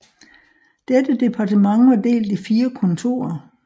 Dette departement var delt i 4 kontorer